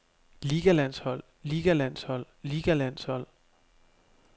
ligalandshold ligalandshold ligalandshold